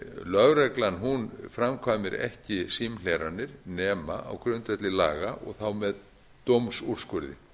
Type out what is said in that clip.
lögreglan framkvæmir ekki símhleranir nema á grundvelli laga þá með dómsúrskurði